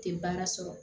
Tɛ baara sɔrɔ